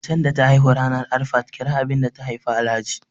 macen da ta haihu ranar Arafat kira abinda ta Haifa Alhaji